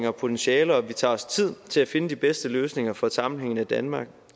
og potentialer og at vi tager os tid til at finde de bedste løsninger for et sammenhængende danmark